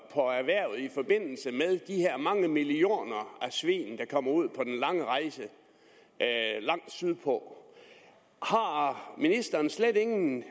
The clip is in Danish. på erhvervet i forbindelse med de her mange millioner svin der kommer ud på den lange rejse langt sydpå har ministeren slet ingen